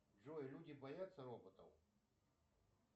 джой люди боятся роботов